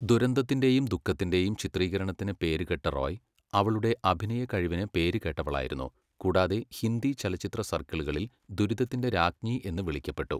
ദുരന്തത്തിന്റെയും ദുഃഖത്തിന്റെയും ചിത്രീകരണത്തിന് പേരുകേട്ട റോയ്, അവളുടെ അഭിനയ കഴിവിന് പേരുകേട്ടവളായിരുന്നു, കൂടാതെ ഹിന്ദി ചലച്ചിത്ര സർക്കിളുകളിൽ ദുരിതത്തിന്റെ രാജ്ഞി എന്ന് വിളിക്കപ്പെട്ടു.